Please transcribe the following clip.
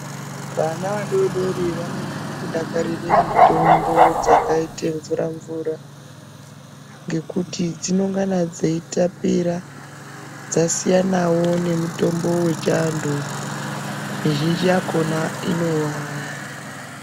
Vana vadodori vanonyanya kudakarira mitombo dzakaite mvura mvura ngekuti dzinongana dzeitapira dzasiyana wo nemitombo dzechiantu mizhinji yakona inowawa.